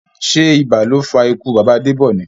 Sé ibà ló fa ikú bàbá Debọ ni?